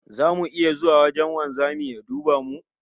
Zamu iya zuwa wajen wanzamin ya duba mu?